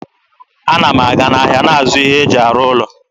Ana m aga n'ahịa na-azụ ihe e ji arụ ụlọ.